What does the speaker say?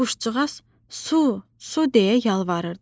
Quşcuğaz, su, su deyə yalvarırdı.